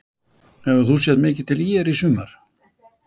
Hefur þú séð mikið til ÍR í sumar?